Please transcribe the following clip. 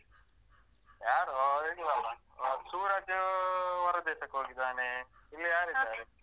ಯಾರು ಅವರಿಲ್ಲಲ್ಲ, ಸೂರಜ್ ಹೊರ ದೇಶಕ್ ಹೋಗಿದ್ದಾನೆ ಇಲ್ಲಿ ಯಾರಿದ್ದಾರೆ?